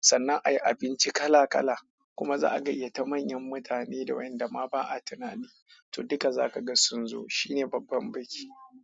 sannan a yi abinci kala-kala kuma za a gayyata manyan mutane da wayanda ma ba a tunani, to duka za ka ga sun zo. Shine babban biki.